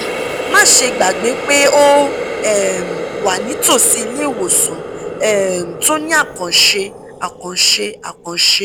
má ṣe gbàgbé pé o um wà nítòsí ilé ìwòsàn um tó ní àkànṣe àkànṣe àkànṣe